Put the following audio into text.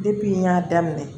Depi n y'a daminɛ